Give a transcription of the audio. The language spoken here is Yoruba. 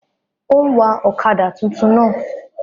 Ó ń wa ọ̀kadà túntún náà